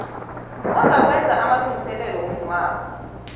ozakwenza amalungiselelo womngcwabo